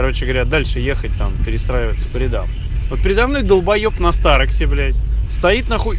короче говоря дальше ехать там перестраиваться по рядам вот передо мной долбаеб на старексе блять стоит нахуй